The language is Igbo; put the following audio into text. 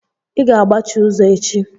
I ga-agbachi ụzọ echi!